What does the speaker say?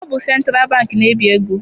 Ọ bụ sentralụ bankị na- ebi ego.